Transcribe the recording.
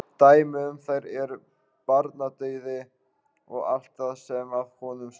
Dæmi um þær er barnadauði og allt það sem að honum stuðlar.